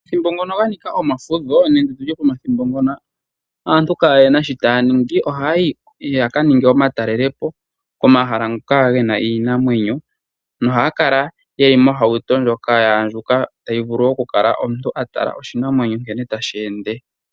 Omathimbo ngono ga nika omafudho nenge ndi tye pomathimbo ngono aantu kaayena sho taa ningi, ohaayi ya ka ninge omatalelopo komahala ngoka gena iinamwenyo nohaya kala yeli mohauto ndjoka ya andjuka tayi vulu okukala omuntu a tala oshinamwenyo nkene tashi ende.